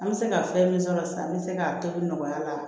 An bɛ se ka fɛn min sɔrɔ sisan n bɛ se k'a tobi nɔgɔya la